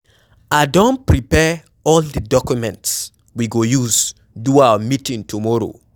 I don prepare all the documents we go use do our meeting tomorrow.